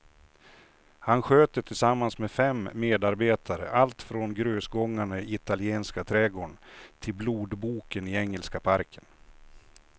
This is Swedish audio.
Han sköter tillsammans med fem medarbetare allt från grusgångarna i italienska trädgården till blodboken i engelska parken.